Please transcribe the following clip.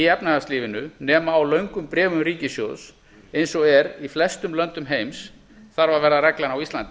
efnahagslífinu nema á löngum bréfum ríkissjóðs eins og er í flestum löndum heims þarf að verða reglan á íslandi